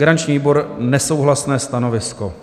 Garanční výbor - nesouhlasné stanovisko.